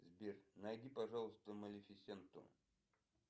сбер найди пожалуйста малефисенту